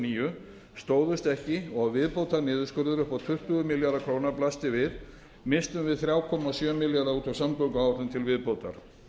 níu stóðust ekki og viðbótarniðurskurður upp á tuttugu milljarða króna blasti við misstum við þrjú komma sjö milljarða út af samgönguáætlun til viðbótar